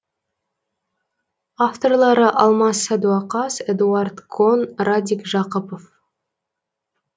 авторлары алмас садуақас эдуарад кон радик жақыпов